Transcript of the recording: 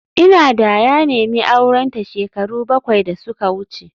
Ina da ya nemi aurenta shekaru bakwai da suka wuce